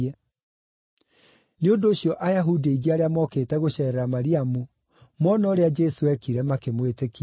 Nĩ ũndũ ũcio Ayahudi aingĩ arĩa mokĩte gũceerera Mariamu, moona ũrĩa Jesũ eekire, makĩmwĩtĩkia.